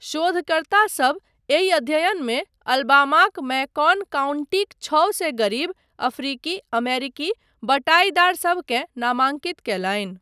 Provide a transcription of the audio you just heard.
शोधकर्तासभ एहि अध्ययनमे अलबामाक मैकॉन काउन्टीक छओ सए गरीब, अफ्रीकी अमेरिकी बटाईदारसबकेँ नामांकित कयलनि।